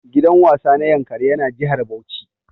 Gidan wasa na yankari ƴa na jihar Bauchi.